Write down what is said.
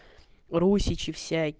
русичи